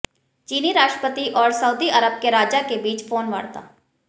चीनी राष्ट्रपति और सऊदी अरब के राजा के बीच फोनवार्ता